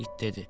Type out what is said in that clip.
İt dedi: